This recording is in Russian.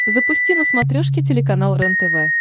запусти на смотрешке телеканал рентв